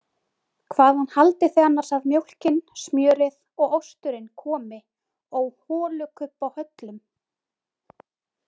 Hvaðan haldið þið annars að mjólkin, smjörið og osturinn komi ó holukubbahöllum?